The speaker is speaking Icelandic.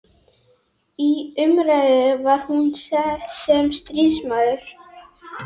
Í umræðu var hún sem stríðsmaður.